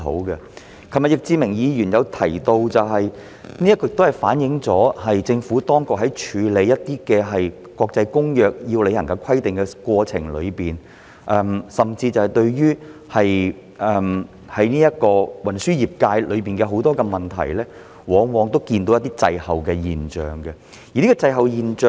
易志明議員昨天亦提到，此情況反映出政府在處理一些國際公約中須履行的規定的過程中，甚至對於運輸業界很多問題，往往呈現滯後的現象。